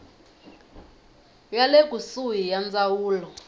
ya le kusuhi ya ndzawulo